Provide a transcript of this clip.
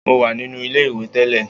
Mo wà nínú ilé-ìwẹ̀ tẹ́lẹ̀